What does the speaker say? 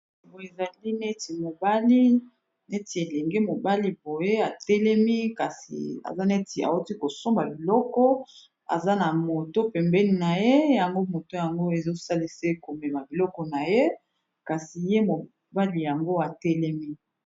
Boye ezali neti mobali neti elenge mobali boye atelemi kasi aza neti awuti kosomba biloko aza na moto pembeni na ye yango moto yango ezo salise komema biloko na ye kasi ye mobali yango atelemi.